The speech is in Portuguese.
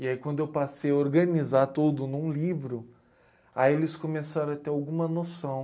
E aí quando eu passei a organizar tudo num livro, aí eles começaram a ter alguma noção.